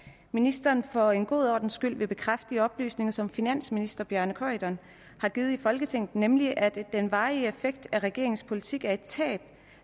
ministeren for en god ordens skyld vil bekræfte de oplysninger som finansministeren har givet i folketinget nemlig at den varige effekt af regeringens politik er et tab